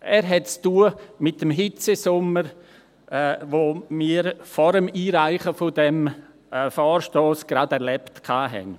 Er hat mit dem Hitzesommer zu tun, den wir vor dem Einreichen dieses Vorstosses gerade erlebt hatten.